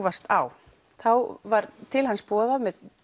varst á þá var til hans boðað með